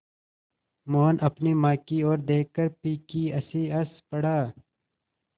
मोहन अपनी माँ की ओर देखकर फीकी हँसी हँस पड़ा